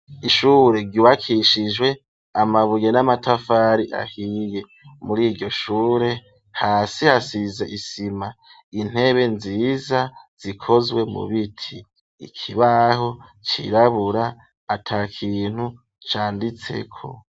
Ishure ryubakishijwe amabuye n'amatafari ahiye, muri iryo shure hasi hasize isima ,intebe nziza zikozwe mu biti, ikibaho cirabura ata kintu canditseko.